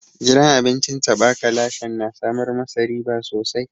Gidan abincin taɓa ka lashen na samar ma sa riba sosai.